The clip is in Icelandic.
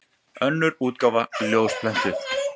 Önnur útgáfa ljósprentuð.